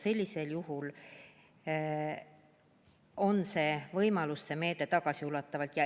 Sellisel juhul on see võimalus, et see meede toimib tagasiulatuvalt.